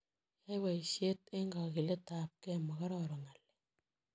Yai boisiet eng kagiletab gee, makororon ng'alek.